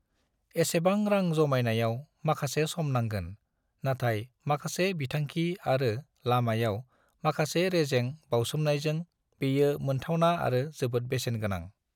एसेबां रां जमायनायाव माखासे सम नांगोन, नाथाय माखासे बिथांखि आरो लामायाव माखासे रेजें बावसोमनायजों, बेयो मोन्थावना आरो जोबोद बेसेन गोनां।